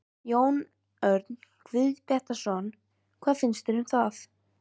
Jón Örn Guðbjartsson: Hvað finnst þér um það?